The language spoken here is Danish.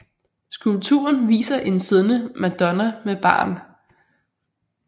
Skulpturen viser en siddende madonna med barn